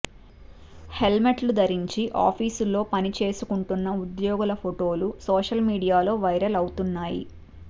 హెల్మెట్లు ధరించి ఆఫీసులో పనిచేసుకుంటున్న ఉద్యోగుల ఫొటోలు సోషల్ మీడియాలో వైరల్ అవుతున్నాయి